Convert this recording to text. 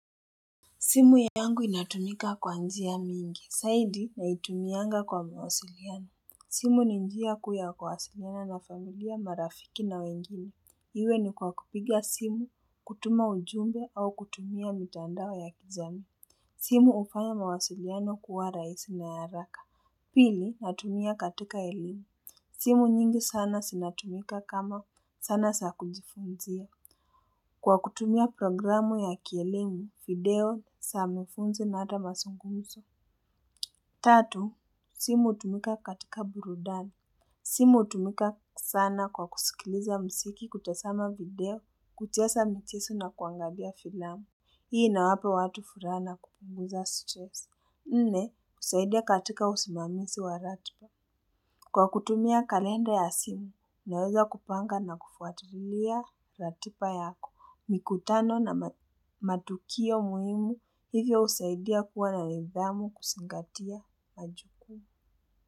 Simu yangu inatumika kwa njia mingi, zaidi naitumianga kwa mawasiliano. Simu ni njia kuu ya kwasiliana na familia marafiki na wengine. Iwe ni kwa kupiga simu, kutuma ujumbe au kutumia mitandao ya kijamii. Simu hufanya mawasiliano kuwa rahisi na ya haraka. Pili natumia katika elimi. Simu nyingi sana zinatumika kama zana za kujifunzia. Kwa kutumia programu ya kielimu, video, za mafuno na hata mazungunzo. Tatu, simu hutumika katika burudani. Simu hutumika sana kwa kusikiliza mziki kutazama video, kucheza mchezo na kuangalia filamu. Hii inawapa watu furaha kupunguza stress. Nne, husaidia katika usimamizi wa ratiba. Kwa kutumia kalenda ya simu, naweza kupanga na kufuatilia ratiba yako. Mikutano na matukio muhimu hivyo husaidia kuwa na nidhamu kuzingatia majukumu.